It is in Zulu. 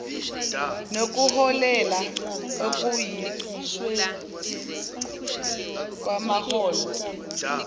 nokuholela ekwenyusweni kwamaholo